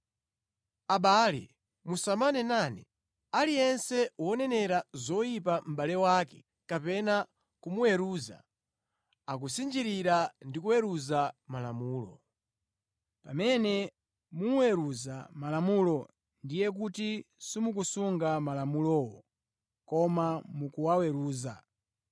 Abale musamanenane. Aliyense wonenera zoyipa mʼbale wake kapena kumuweruza, akusinjirira ndi kuweruza Malamulo. Pamene muweruza malamulo, ndiye kuti simukusunga malamulowo, koma mukuwaweruza.